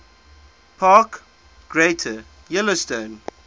park greater yellowstone